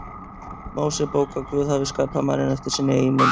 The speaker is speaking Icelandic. Mósebók að Guð hafi skapað manninn eftir sinni eigin mynd.